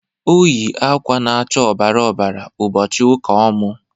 Ọ yị akwa na'acha ọbara ọbara ụbọchị ụka ọmụ.